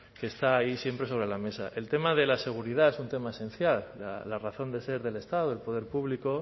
que está ahí siempre sobre la mesa el tema de la seguridad es un tema esencial la razón de ser del estado del poder público